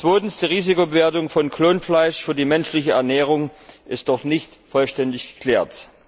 Zweitens Die Risikobewertung von Klonfleisch für die menschliche Ernährung ist noch nicht vollständig geklärt.